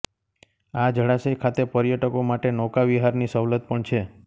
આ જળાશય ખાતે પર્યટકો માટે નૌકાવિહારની સવલત પણ છે